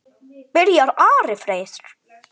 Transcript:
Byrjar Ari Freyr?